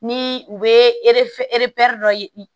Ni u bɛ dɔ ye